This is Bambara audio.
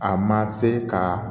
A ma se ka